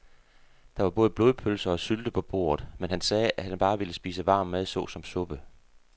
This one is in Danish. Der var både blodpølse og sylte på bordet, men han sagde, at han bare ville spise varm mad såsom suppe.